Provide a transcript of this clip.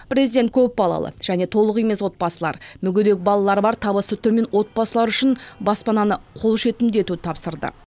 президент көп балалы және толық емес отбасылар мүгедек балалары бар табысы төмен отбасылары үшін баспананы қол жетімді етуді тапсырды